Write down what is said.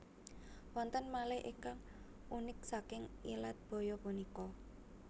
Wonten malih ingkang unik saking ilat baya punika